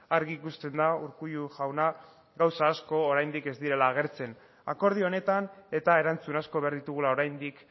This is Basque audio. argi ikusten da urkullu jauna gauza asko oraindik ez direla agertzen akordio honetan eta erantzun asko behar ditugula oraindik